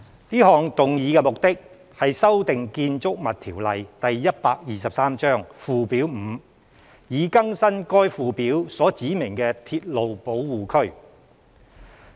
這項議案的目的，是修訂《建築物條例》附表 5， 以更新該附表所指明的鐵路保護區。